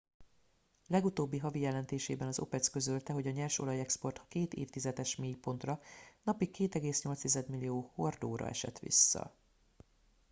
legutóbbi havi jelentésében az opec közölte hogy a nyersolajexport két évtizedes mélypontra napi 2,8 millió hordóra esett vissza